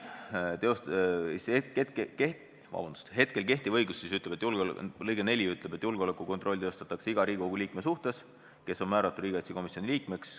Kehtiva seaduse § 19 lõige 4 ütleb: "Julgeolekukontroll teostatakse iga Riigikogu liikme suhtes, kes on määratud Riigikogu riigikaitsekomisjoni liikmeks.